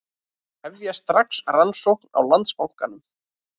Hefja strax rannsókn á Landsbankanum